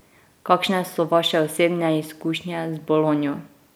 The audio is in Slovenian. Kakšne so vaše osebne izkušnje z bolonjo?